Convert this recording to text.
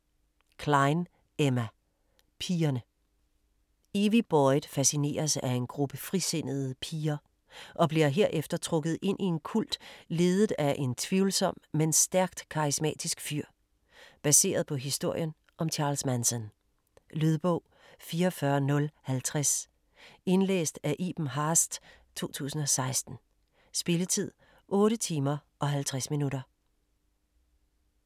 Cline, Emma: Pigerne Evie Boyd fascineres af en gruppe frisindede piger, og bliver herefter trukket ind i en kult ledet af en tvivlsom, men stærkt karismatisk fyr. Baseret på historien om Charles Manson. Lydbog 44050 Indlæst af Iben Haaest, 2016. Spilletid: 8 timer, 50 minutter.